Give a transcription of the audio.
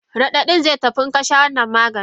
Radadin zai tafi inka sha wannan Maganin.